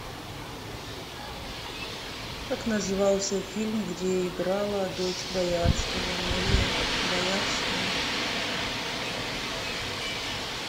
как назывался фильм где играла дочь боярского мария боярская